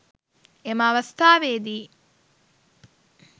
එම අවස්ථාවේදී